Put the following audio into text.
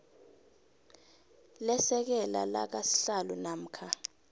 lesekela lakasihlalo namkha